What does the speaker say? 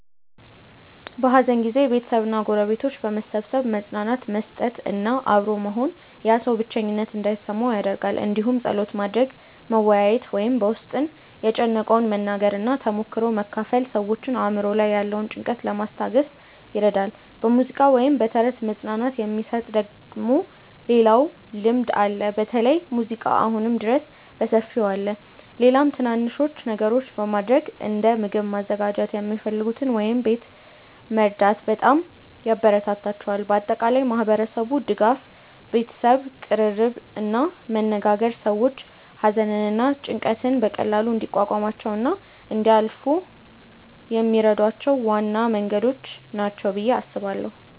በሐዘን ጊዜ ቤተሰብ እና ጎረቤቶች በመሰብሰብ መጽናናት መስጠት እና አብሮ መሆን ያ ሰው ብቸኝነት እንዳይሰማው ይደረጋል እንዲሁም ጸሎት ማድረግ፣ መወያየት ወይም በ ውስጥን የጨነቀውን መናገር እና ተሞክሮ መካፈል ሰዎችን አእምሮ ላይ ያለውን ጭንቀት ለማስታገስ ይረዳል። በሙዚቃ ወይም በተረት መጽናናት የሚሰጥ ደግሞ ሌላኛው ልምድ አለ በተለይ ሙዚቃ አሁንም ድረስ በሰፊው አለ። ሌላም ትናናንሽ ነገሮች በማረግ እንደ ምግብ ማዘጋጀት የሚፈልጉትን ወይም ቤት መርዳት በጣም ያበራታታቸዋል። በአጠቃላይ ማህበረሰቡ ድጋፍ፣ ቤተሰብ ቅርርብ እና መነጋገር ሰዎች ሐዘንን እና ጭንቀትን በቀላሉ እንዲቋቋሙ እና እንዲያልፏ የሚረዷቸው ዋና መንገዶች ናቸው ብዬ አስባለው።